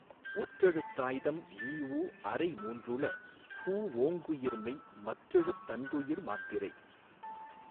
ஒற்றெழுத் தாய்தம்இ உஅரை மூன்றள பு ஓங்குயிர்மெய் மற்றெழுத் தன்றுயிர் மாத்திரை